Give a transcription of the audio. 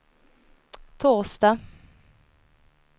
torsdag